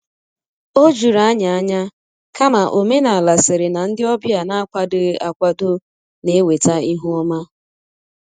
O juru anyị ányá, kama omenala sịrị na ndị ọbịa n'akwadoghị akwado na- eweta ihu ọma.